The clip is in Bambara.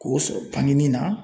K'o sɔrɔ bangeni na